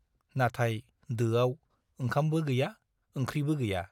नाथाय दोआव ओंखामबो गैया ओंख्रिबो गैया ।